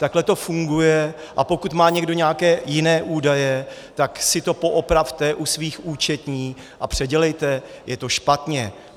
Takhle to funguje, a pokud má někdo nějaké jiné údaje, tak si to poopravte u svých účetních a předělejte, je to špatně.